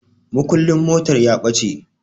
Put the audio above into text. Mukullin motar ya ɓace